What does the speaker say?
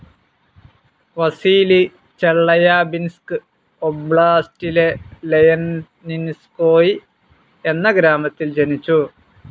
Vasily Chelyabinsk ഒബ്‌ളാസ്റ്റിലെ Yeleninskoye എന്ന ഗ്രാമത്തിൽ ജനിച്ചു.